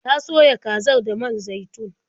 Ta soya kazar da man zaitun.